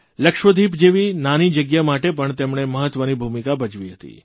લક્ષદ્વીપ જેવી નાની જગ્યા માટે પણ તેમણે મહત્વની ભૂમિકા ભજવી હતી